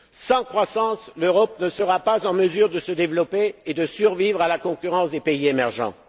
dette. Sans croissance, l'Europe ne sera pas en mesure de se développer et de survivre à la concurrence des pays émergents.